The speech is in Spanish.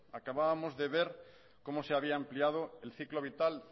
acabábamos de ver cómo se habían ampliado el ciclo vital